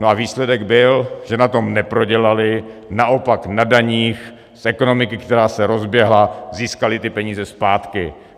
No a výsledek byl, že na tom neprodělaly, naopak na daních z ekonomiky, která se rozběhla, získaly ty peníze zpátky.